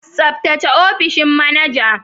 Tsaftace opishin manaja.